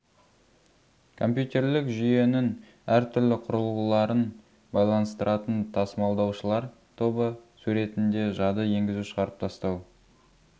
компьютерлік жүйенің әр түрлі құрылғыларын байланыстыратын тасымалдаушылар тобы суретінде жады енгізу шығарып тастау